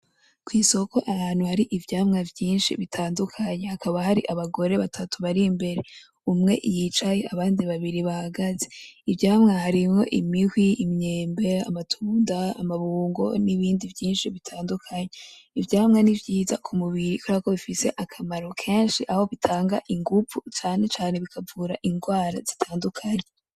Kw'isoko ahantu hari ivyamwa vyinshi bitandukanye hakaba har'abagore batatu bar'imbere ,umwe yicaye abandi babiri bahagaze .Ivyamwa hariho imihwi , imyembe ,amatunda ,amabungo n'ibindi vyinshi bitandukanye .Ivyamwa ni vyiza kumubiri kuberako bifise akamaro kenshi, aho bitanga inguvu cane cane bikavura inrwara zitandukanye.